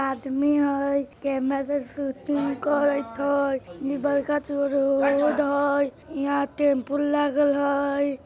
आदमी हय camera shooting करैत हय इ बड़का ठो रोड हय यहां टेम्पो लागल हय।